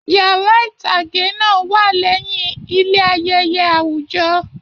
Yàrá itage náà wà lẹyìn ilé ayẹyẹ awujọ.